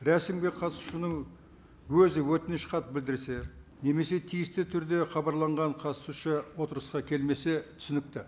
рәсімге қатысушының өзі өтініш хат білдірсе немесе тиісті түрде хабарланған қатысушы отырысқа келмесе түсінікті